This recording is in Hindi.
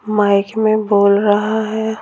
माइक में बोल रहा है।